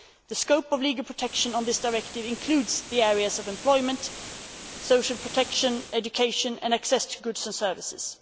The scope of legal protection of this directive includes the areas of employment, social protection, education and access to goods and services.